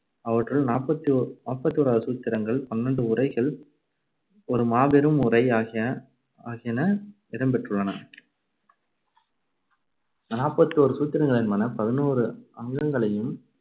அவற்றுள் நாப்பத்தி ஒரு~ நாப்பத்தி ஓராவது சூத்திரங்கள், பன்னிரெண்டு உரைகள், ஒரு மாபெரும் உரை ஆகிய ஆகியன இடம் பெற்றுள்ளன நாப்பத்தி ஒரு சூத்திரங்கள் என்பன பதினோரு அங்கங்களையும்